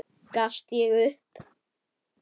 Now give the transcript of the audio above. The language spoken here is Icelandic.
Gafst ég upp?